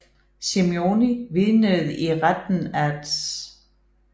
Simeoni vidnede i retten at Dr